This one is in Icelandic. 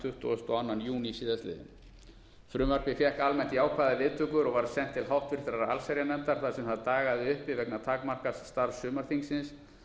og öðrum júní síðastliðinn frumvarpið fékk almennt jákvæðar viðtökur og var sent til háttvirtrar allsherjarnefndar þar sem það dagaði uppi vegna takmarkaðs starfs sumarþingsins